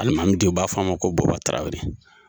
Alimami de u b'a fɔ a ma ko boba tarawele.